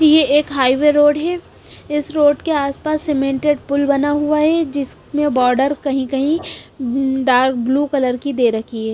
ये एक highway road है इस रोड के आसपास सीमेंटेड पुल बना हुआ है जिसमें बॉर्डर कहीं-कहीं डार्क ब्लू कलर की दे रखी है।